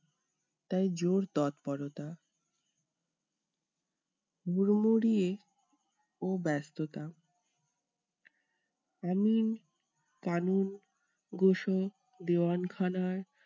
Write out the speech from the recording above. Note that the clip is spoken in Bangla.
তাই জোর তৎপরতা। হুড়মুড়িয়ে ও ব্যাস্ততা আমিন দেওয়ান খানার